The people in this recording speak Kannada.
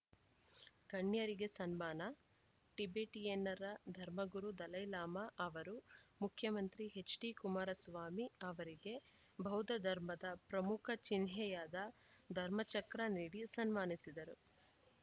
ಗಣ್ಯರಿಗೆ ಸನ್ಮಾನ ಟಿಬೆಟಿಯನ್ನರ ಧರ್ಮಗುರು ದಲೈಲಾಮಾ ಅವರು ಮುಖ್ಯಮಂತ್ರಿ ಎಚ್‌ಡಿಕುಮಾರಸ್ವಾಮಿ ಅವರಿಗೆ ಬೌದ್ಧಧರ್ಮದ ಪ್ರಮುಖ ಚಿಹ್ನೆಯಾದ ಧರ್ಮಚಕ್ರ ನೀಡಿ ಸನ್ಮಾನಿಸಿದರು